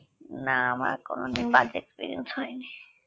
না আমার কোনদিন বাজে experience হয়নি